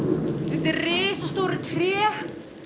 undir risastóru tré